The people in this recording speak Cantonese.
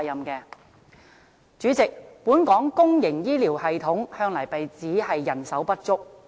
代理主席，本港公營醫療系統向來被指人手不足。